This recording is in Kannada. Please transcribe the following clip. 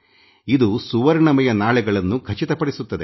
ಇದು ಸುವರ್ಣಮಯ ನಾಳೆಗಳನ್ನು ಖಚಿತಪಡಿಸುತ್ತದೆ